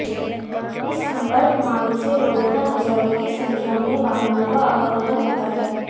इस संपर्क मार्ग से रोजाना हजारों की संख्या में वाहनों का आवागमन होता है